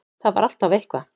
Það var alltaf eitthvað.